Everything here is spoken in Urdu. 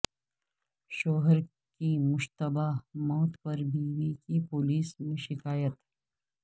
شوہر کی مشتبہ موت پر بیوی کی پولیس میں شکایت